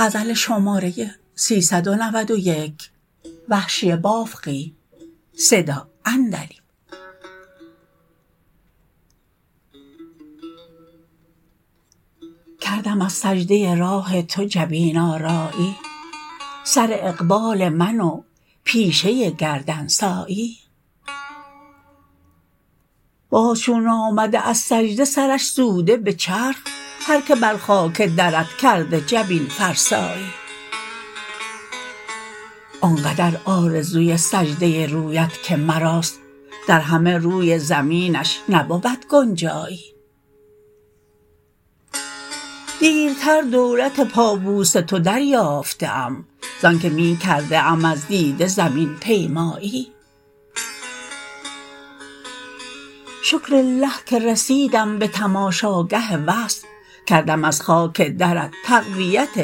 کردم از سجده راه تو جبین آرایی سر اقبال من و پیشه گردن سایی باز چون آمده از سجده سرش سوده به چرخ هر که بر خاک درت کرده جبین فرسایی آن قدر آرزوی سجده رویت که مراست در همه روی زمینش نبود گنجایی دیرتر دولت پابوس تو دریافته ام ز آنکه می کرده ام از دیده زمین پیمایی شکرلله که رسیدم به تماشا گه وصل کردم از خاک درت تقویت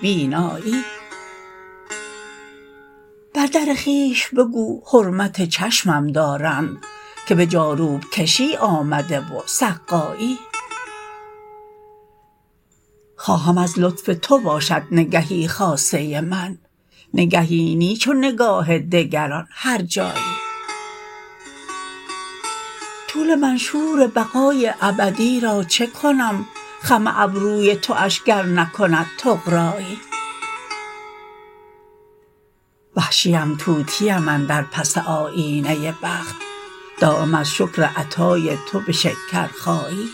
بینایی بردر خویش بگو حرمت چشمم دارند که به جاروب کشی آمده و سقایی خواهم از لطف تو باشد نگهی خاصه من نگهی نی چو نگاه دگران هر جایی طول منشور بقای ابدی را چکنم خم ابروی تواش گر نکند طغرایی وحشیم طوطیم اندر پس آیینه بخت دایم از شکر عطای تو به شکرخایی